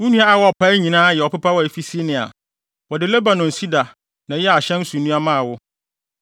Wo nnua a wɔpaee nyinaa yɛ ɔpepaw a efi Senir. Wɔde Lebanon sida na ɛyɛɛ ahyɛn so nnua maa wo.